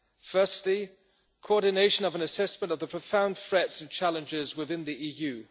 Firstly, coordination of an assessment of the profound threats and challenges within the EU.